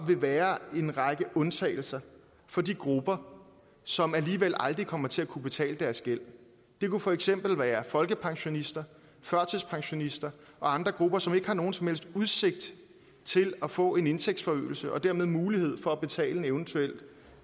vil være en række undtagelser for de grupper som alligevel aldrig kommer til at kunne betale deres gæld det kunne for eksempel være folkepensionister førtidspensionister og andre grupper som ikke har nogen som helst udsigt til at få en indtægtsforøgelse og dermed mulighed for at betale en eventuel